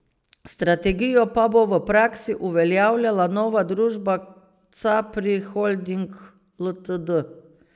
Strategijo pa bo v praksi uveljavljala nova družba Capri Holdings Ltd.